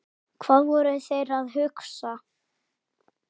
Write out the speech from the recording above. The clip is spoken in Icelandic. Hvað voru þeir að hugsa?